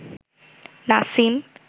Nasim